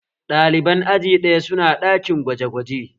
Ɗaliban aji ɗaya su na ɗakin gwaje gwaje